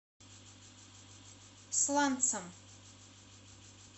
сланцам